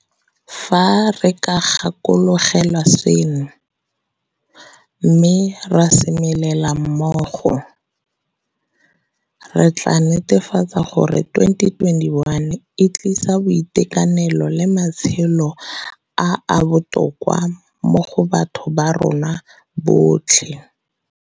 Fa re ka gakologelwa seno, mme ra semelela mmogo, re tla netefatsa gore 2021 e tlisa boitekanelo le matshelo a a botoka go batho ba rona botlhe.